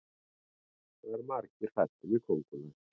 það eru margir hræddir við köngulær